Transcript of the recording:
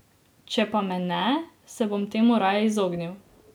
Če pa me ne, se bom temu raje izognil.